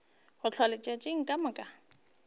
go hlwa letšatši ka moka